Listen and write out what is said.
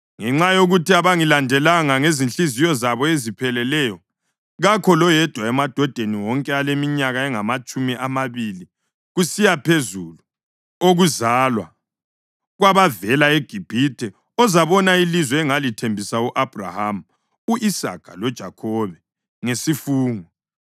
‘Ngenxa yokuthi abangilandelanga ngezinhliziyo zabo ezipheleleyo, kakho loyedwa emadodeni wonke aleminyaka engamatshumi amabili kusiya phezulu okuzalwa kwabavela eGibhithe ozabona ilizwe engalithembisa u-Abhrahama, u-Isaka loJakhobe ngesifungo,